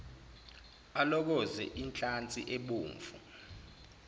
alokoze inhlansi ebomvu